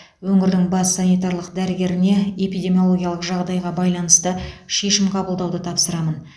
өңірдің бас санитарлық дәрігеріне эпидемиологиялық жағдайға байланысты шешім қабылдауды тапсырамын